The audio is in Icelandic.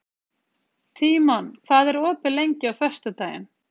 Tímon, hvað er opið lengi á föstudaginn?